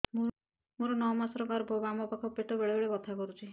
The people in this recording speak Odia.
ମୋର ନଅ ମାସ ଗର୍ଭ ବାମ ପାଖ ପେଟ ବେଳେ ବେଳେ ବଥା କରୁଛି